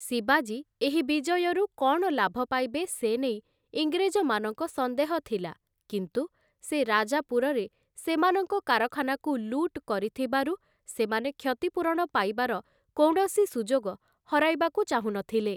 ଶିବାଜୀ, ଏହି ବିଜୟରୁ କ'ଣ ଲାଭ ପାଇବେ ସେ ନେଇ ଇଂରେଜମାନଙ୍କ ସନ୍ଦେହ ଥିଲା, କିନ୍ତୁ ସେ ରାଜାପୁରରେ ସେମାନଙ୍କ କାରଖାନାକୁ ଲୁଟ କରିଥିବାରୁ ସେମାନେ କ୍ଷତିପୂରଣ ପାଇବାର କୌଣସି ସୁଯୋଗ ହରାଇବାକୁ ଚାହୁଁନଥିଲେ ।